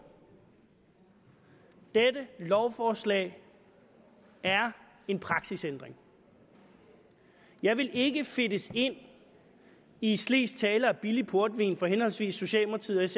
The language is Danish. dette lovforslag er en praksisændring jeg vil ikke fedtes ind i slesk tale og billig portvin fra henholdsvis socialdemokratiets